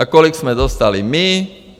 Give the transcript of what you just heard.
A kolik jsme dostali my?